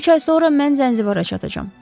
Üç ay sonra mən Zənzibara çatacam.